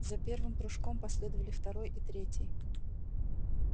за первым прыжком последовали второй и третий